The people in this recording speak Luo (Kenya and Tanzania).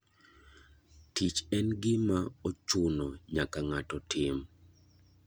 Tich en gima ochuna nyaka ng'ato tim.